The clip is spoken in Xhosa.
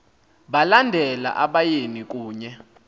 balandela abayeni kunye